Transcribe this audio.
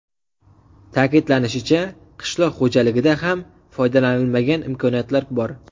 Ta’kidlanishicha, qishloq xo‘jaligida ham foydalanilmagan imkoniyatlar bor.